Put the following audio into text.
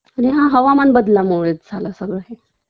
आणि हा हवामानबदलामुळेच झालं सगळं हे